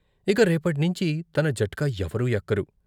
ఇక రేపట్నించి తన జట్కా ఎవరూ ఎక్కరు.